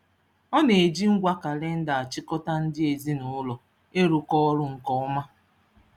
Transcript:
Ọ na-eji ngwa kalịnda achịkọta ndị ezinụụlọ ịrụkọ ọrụ nke ọma.